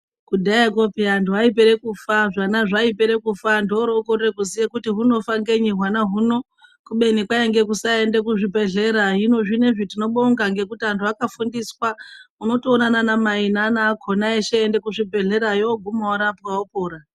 Kudhayako vanthu vaipere kufa hwana hwaipere kufa anthu oro okorera kuziya kuti hunofa ngei hwana huno kubeni kwainge kusaenda kuzvibhedhlera hino zvinezvi tinobonga ngekuti anthu akfundiswa unotoona ana mai neana akona eshe eienda kuzvibhedhlerayo oguma orapwa opora.